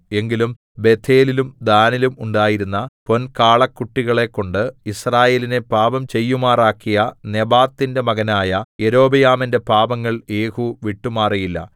എങ്കിലും ബേഥേലിലും ദാനിലും ഉണ്ടായിരുന്ന പൊൻകാളക്കുട്ടികളെക്കൊണ്ട് യിസ്രായേലിനെ പാപം ചെയ്യുമാറാക്കിയ നെബാത്തിന്റെ മകനായ യൊരോബെയാമിന്റെ പാപങ്ങൾ യേഹൂ വിട്ടുമാറിയില്ല